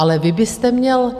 Ale vy byste měl...